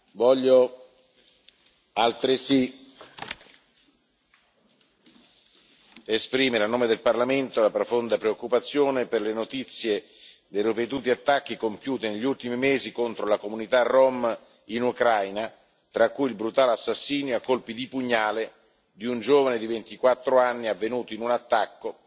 Voglio altresì esprimere, a nome del Parlamento, la profonda preoccupazione per le notizie dei ripetuti attacchi compiuti negli ultimi mesi contro la comunità rom in Ucraina, tra cui il brutale assassinio a colpi di pugnali di un giovane di 24 anni, avvenuto in un attacco